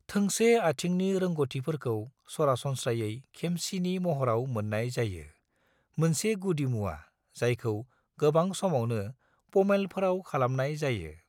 थोंसे आथिंनि रोंग'थिफोरखौ सरासनस्रायै खेमसिनि महराव मोन्नाय जायो, मोनसे गुदिमुवा जायखौ गोबां समावनो पोमेलफोराव खालामनाय जायो।